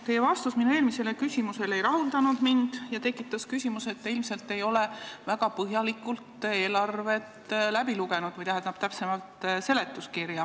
Teie vastus minu eelmisele küsimusele ei rahuldanud mind ja jättis mulje, et te ilmselt ei ole väga põhjalikult eelarve seletuskirja läbi lugenud.